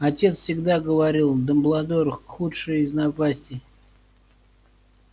отец всегда говорил дамблдор худшая из напастей